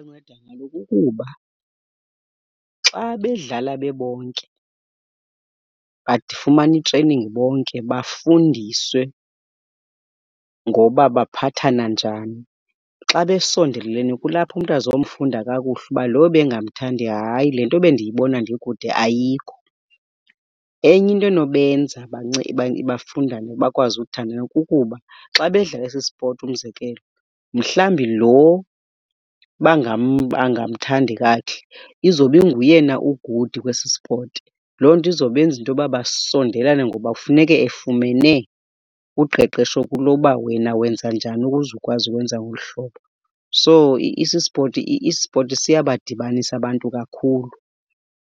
Ibanceda kaloku kuba xa bedlala bebonke bafumana i-training bonke bafundiswe ngoba baphathana njani. Xa besondelelene kulapho umntu azomfunda kakuhle uba lo ebengamthandi hayi le nto bendiyibona ndikude ayikho. Enye into enobenza bafundane bakwazi uthandana kukuba xa bedlala esi spoti umzekelo, mhlawumbi loo bangamthandi kakuhle izobe inguye na o-good kwesi spoti. Loo nto izobenza into yoba basondelelana ngoba kufuneke efumene uqeqesho kulo uba wena wenza njani ukuze ukwazi ukwenza ngolu hlobo. So ispoti siyabadibanisa abantu kakhulu